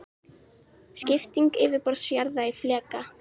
Skipting yfirborðs jarðar í fleka.